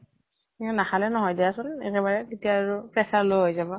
কিনো নাখালে নহয় দিয়াচোন একেবাৰে, তেতিয়া আৰু pressure low হৈ যাব।